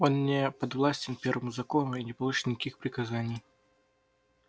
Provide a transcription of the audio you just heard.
он не подвластен первому закону и не получит никаких приказаний